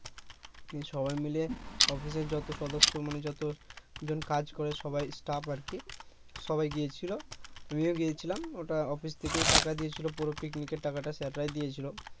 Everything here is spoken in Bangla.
উম সবাই মিলে অফিসের যতো সদস্য মানে যতজন কাজ করে সবাই stuf আরকি সবাই গিয়েছিলো আমিও গিয়েছিলাম ওটা অফিস থেকেই টাকা দিয়েছিলো পুরো পিকনিকের টাকাটা sir রাই দিয়েছিলো